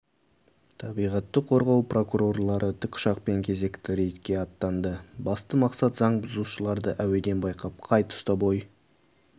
табиғатты қорғау прокурорлары тікұшақпен кезекті рейдке аттанды басты мақсат заң бұзушыларды әуеден байқап қай тұста бой